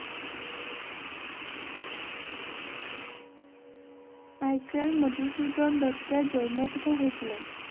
Michael Madhusudan দত্তের জন্ম কোথায় হয়েছিল?